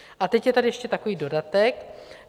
A teď je tady ještě takový dodatek.